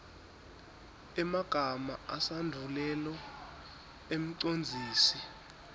emagama esandvulelo emcondzisi